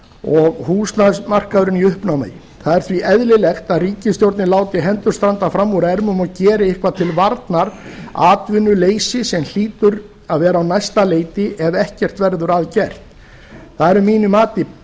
og húsnæðismarkaðurinn í uppnámi það er því eðlilegt að ríkisstjórnin láti hendur standa fram úr ermum og geri eitthvað til varnar atvinnuleysi sem hlýtur að vera á næsta leiti ef ekkert verður að gert það er að mínu mati